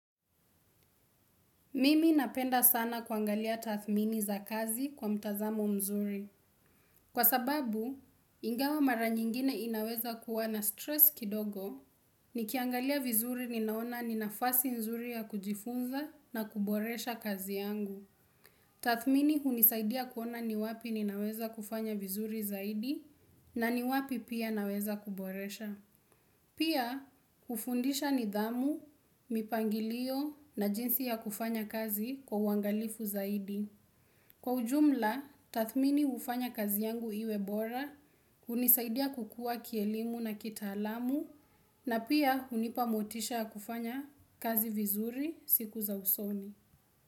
Mimi napenda sana kuangalia tathmini za kazi kwa mtazamo mzuri. Kwa sababu, ingawa mara nyingine inaweza kuwa na stress kidogo, nikiangalia vizuri ninaona ni nafasi nzuri ya kujifunza na kuboresha kazi yangu. Tathmini hunisaidia kuona ni wapi ninaweza kufanya vizuri zaidi na ni wapi pia naweza kuboresha. Pia, hufundisha nidhamu, mipangilio na jinsi ya kufanya kazi kwa uwangalifu zaidi. Kwa ujumla, tathmini hufanya kazi yangu iwe bora, hunisaidia kukua kielimu na kita alamu, na pia hunipa motisha ya kufanya kazi vizuri siku za usoni.